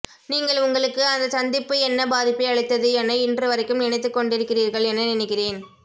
நீங்கள் உங்களுக்கு அந்தச்சந்திப்பு என்ன பாதிப்பை அளித்தது என இன்றுவரைக்கும் நினைத்துக்கொண்டிருக்கிறீர்கள் என நினைக்கிறேன்